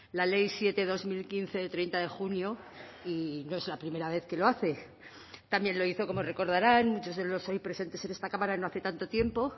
la ley siete barra dos mil quince de treinta de junio y no es la primera vez que lo hace también lo hizo como recordarán muchos de los hoy presentes en esta cámara no hace tanto tiempo